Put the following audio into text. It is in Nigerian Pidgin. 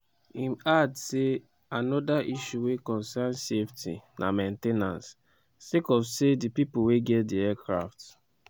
im add say anoda issue wey concern safety na main ten ance - sake of say di pipo wey get di aircrafts